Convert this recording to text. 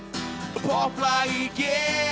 popplag í g